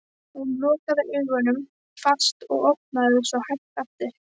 Hún lokaði augunum fast og opnaði þau svo hægt aftur.